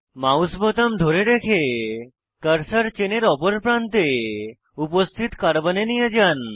mouse বোতাম ধরে রেখে কার্সার চেনের অপর প্রান্তে উপস্থিত কার্বনে নিয়ে যান